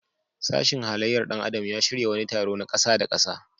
Sashin halayyar ɗan adam ya shirya wani taro na ƙasa-da-ƙasa.